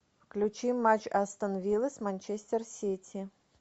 включи матч астон вилла с манчестер сити